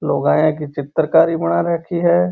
लुगायाँ की चित्रकारी बना राखी है।